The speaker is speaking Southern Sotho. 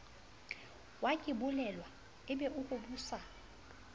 wakebolelwa e be o hobosa